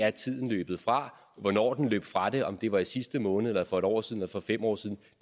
er tiden løbet fra hvornår den løb fra det om det var i sidste måned eller for et år siden eller for fem år siden